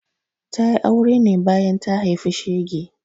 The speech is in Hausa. Ta yi aure ne bayan ta haifi shege.